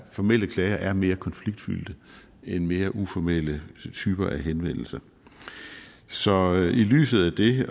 formelle klager er mere konfliktfyldte end mere uformelle typer af henvendelser så i lyset af det